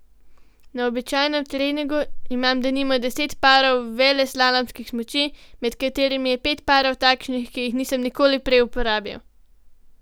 Na običajnem treningu imam denimo deset parov veleslalomskih smuči, med katerimi je pet parov takšnih, ki jih nisem nikoli prej uporabil.